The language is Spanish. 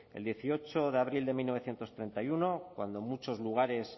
el dieciocho de abril de mil novecientos treinta y uno cuando en muchos lugares